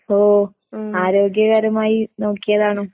ഓ ആരോഗ്യകരമായി നോക്കിയതാണോ?